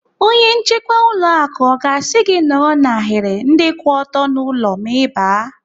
Onye nchekwa ụlọ akụ ọ ga-asị gị nọrọ n'ahiri ndị kwụ ọtọ n'ụlọ ma Ị baa?